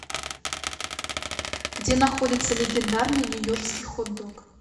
где находится легендарный нью йоркский хот дог